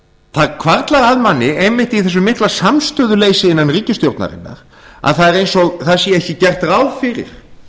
það hvarflar að manni einmitt í þessu mikla samstöðuleysi innan ríkisstjórnarinnar að það er eins og það sé ekki gert ráð fyrir